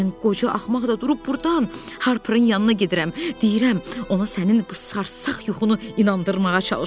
Mən qoca axmaq da durub burdan Harperin yanına gedirəm, deyirəm, ona sənin bu sarsaq yuxunu inandırmağa çalışım.